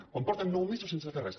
quan porten nou mesos sense fer res